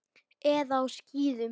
Eða á skíðum.